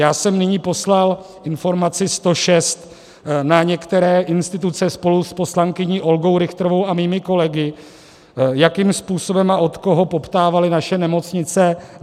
Já jsem nyní poslal informaci 106 na některé instituce spolu s poslankyní Olgou Richtrovou a svými kolegy, jakým způsobem a od koho poptávaly naše nemocnice.